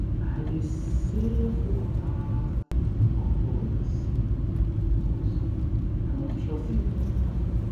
i dey save for hard currency because i no trust di economy